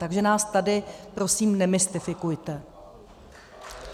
Takže nás tady prosím nemystifikujte.